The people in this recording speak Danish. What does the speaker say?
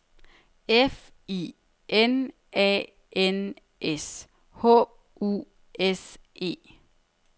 F I N A N S H U S E